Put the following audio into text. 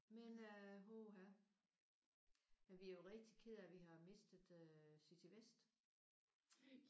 Men øh puha men vi er jo rigtigt kede af at vi har mistet øh City Vest